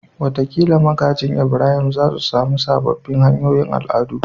Wataƙila magajin Ibrahim za su sami sababbin hanyoyin al'adu